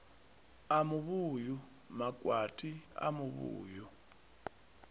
a muvhuyu makwati a muvhuyu